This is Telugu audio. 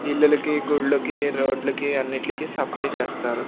ఇల్లులకి గుళ్ళుకి రోడ్ లకి అన్నిట్లికీ సప్లై చేస్తారు.